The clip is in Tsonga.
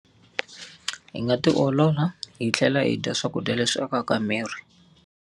Hi nga ti olola hi tlhela yi dya swakudya leswi akaka miri.